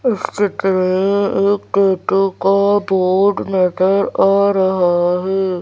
इस चित्र में एक टैटू का बोर्ड नजर आ रहा है।